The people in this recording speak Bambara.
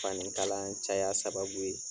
Fanin kala caya sababu ye.